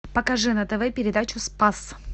покажи на тв передачу спас